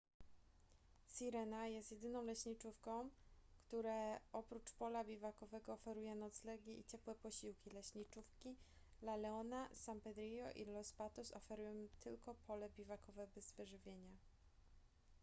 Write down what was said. sirena jest jedyną leśniczówką które oprócz pola biwakowego oferuje noclegi i ciepłe posiłki leśniczówki la leona san pedrillo i los patos oferują tylko pole biwakowe bez wyżywienia